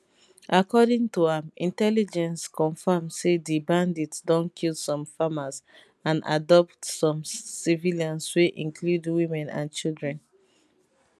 according to am intelligence confirm say di bandits don kill some farmers and abduct some civilians wey include women and children